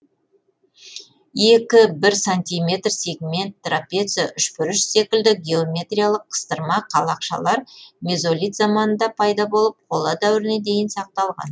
екі бір сантиметр сегмент трапеция үшбұрыш секілді геометриялық қыстырма қалақшалар мезолит заманында пайда болып қола дәуіріне дейін сақталған